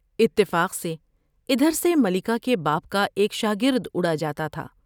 اتفاق سے ادھر سے ملکہ کے باپ کا ایک شاگرداڑ جا تا تھا ۔